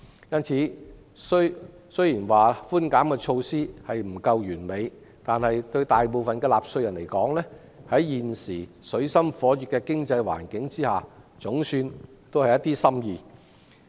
因此，雖說寬減措施不盡完善，但在現時水深火熱的經濟環境下，對大部分的納稅人來說，措施總算是一點心意。